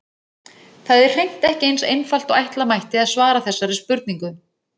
Það er hreint ekki eins einfalt og ætla mætti að svara þessari spurningu.